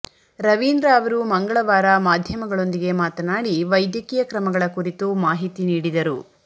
ರವೀಂದ್ರ ಅವರು ಮಂಗಳವಾರ ಮಾಧ್ಯಮಗಳೊಂದಿಗೆ ಮಾತನಾಡಿ ವೈದ್ಯಕೀಯ ಕ್ರಮಗಳ ಕುರಿತು ಮಾಹಿತಿ ನೀಡಿದರು